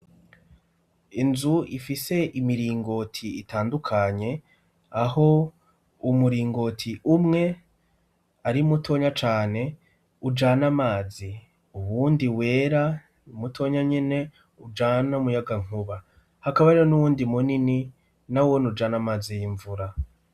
Inzu ifise imiringoti itandukanye, aho umuringoti umwe ari mutonya cane ujana amazi ; uwundi wera mutonya nyene ujana umuyagankuba. Hakaba hariho n'uwundi munini nawone ujana amazi y'imvura.